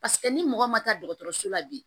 Paseke ni mɔgɔ ma taa so la bi